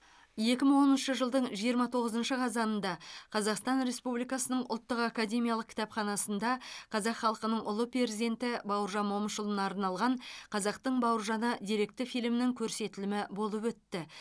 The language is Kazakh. екі мың оныншы жылдың жиырма тоғызыншы қазанында қазақстан республикасының ұлттық академиялық кітапханасында қазақ халқының ұлы перзенті бауыржан момышұлына арналған қазақтың бауыржаны деректі фильмінің көрсетілімі болып өтті